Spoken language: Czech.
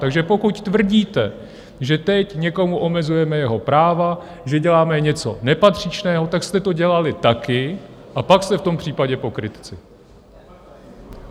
Takže pokud tvrdíte, že teď někomu omezujeme jeho práva, že děláme něco nepatřičného, tak jste to dělali taky, a pak jste v tom případě pokrytci.